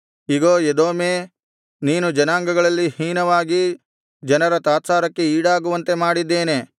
ಇಗೋ ಎದೋಮೇ ನೀನು ಜನಾಂಗಗಳಲ್ಲಿ ಹೀನವಾಗಿ ಜನರ ತಾತ್ಸಾರಕ್ಕೆ ಈಡಾಗುವಂತೆ ಮಾಡಿದ್ದೇನೆ